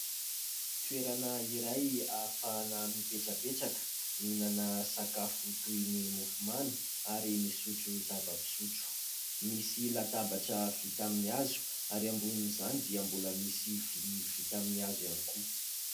Toerana iray afahana mipetrapetraka, mihinana sakafo toy ny : mofomamy ary misotro zava-pisotro ; misy latabatra vita amin'ny hazo ary ambonin'izany dia mbola misy vilia vita aminy hazo ihany koa.